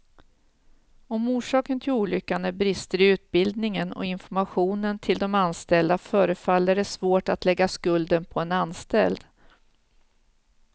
Om orsaken till olyckan är brister i utbildningen och informationen till de anställda, förefaller det svårt att lägga skulden på en anställd.